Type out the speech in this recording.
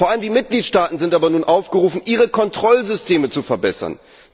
Vor allem die Mitgliedstaaten sind aber nun aufgerufen, ihre Kontrollsysteme zu verbessern.